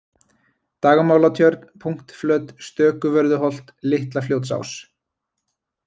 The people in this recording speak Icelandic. Dagmálatjörn, Punktflöt, Stökuvörðuholt, Litlafljótsás